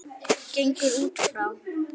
gengur út frá.